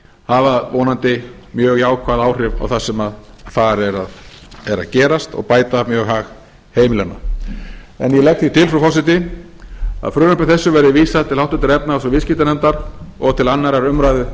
hafa vonandi mjög jákvæð áhrif á það sem þar er að gerast og bæta mjög hag heimilanna ég legg því til frú forseti að frumvarpi þessu verði vísað til háttvirtrar efnahags og viðskiptanefndar og til annarrar umræðu